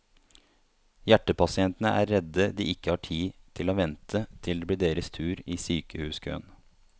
Hjertepasientene er redd de ikke har tid til å vente til det blir deres tur i sykehuskøen.